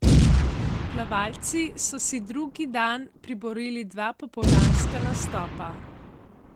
Plavalci so si drugi dan priborili dva popoldanska nastopa.